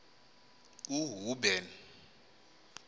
uhuben